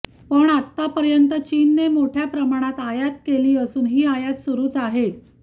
पण आतापर्यंत चीनने मोठ्या प्रमाणात आयात केली असून ही आयात सुरुच आहे